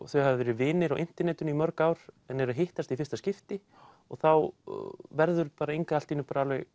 þau hafa verið vinir á internetinu í mörg ár en eru að hittast í fyrsta skipti og þá verður Inga allt í einu